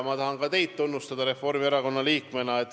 Ma tahan ka teid tunnustada kui Reformierakonna liiget.